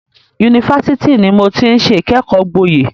Yunifásitì ni mo ti ń ṣe ìkẹ́kọ̀ọ́ gboyè.